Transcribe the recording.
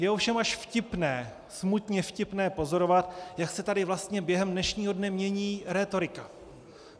Je ovšem až vtipné, smutně vtipné pozorovat, jak se tady vlastně během dnešního dne mění rétorika.